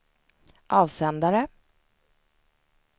avsändare